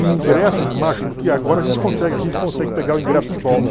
E ingressos, que agora a gente consegue a gente consegue pegar o ingresso de volta.